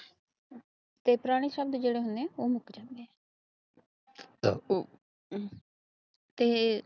paper ਦੇ ਸ਼ਬਦ ਨੇ ਜੜੇ ਹੁਣੇ ਪਲਸ ਟੂ ਤੇ